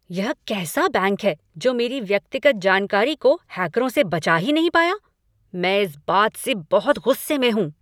यह कैसा बैंक है जो मेरी व्यक्तिगत जानकारी को हैकरों से बचा ही नहीं पाया? मैं इस बात से बहुत गुस्से में हूँ।